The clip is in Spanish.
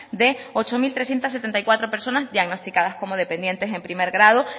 de ocho mil trescientos setenta y cuatro personas diagnosticadas como dependientes en primer grado